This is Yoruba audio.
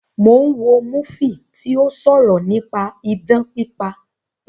Mo ń wo múfì tí ó sọ̀rọ̀ nípa idán pípa